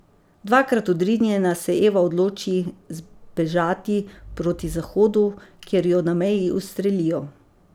Dvakrat odrinjena se Eva odloči zbežati proti zahodu, kjer jo na meji ustrelijo.